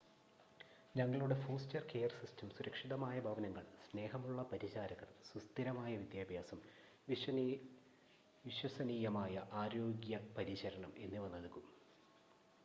ഞങ്ങളുടെ foster care system സുരക്ഷിതമായ ഭവനങ്ങൾ സ്നേഹമുള്ള പരിചാരകർ സുസ്ഥിരമായ വിദ്യാഭ്യാസം വിശ്വസനീയമായ ആരോഗ്യ പരിചരണം എന്നിവ നൽകും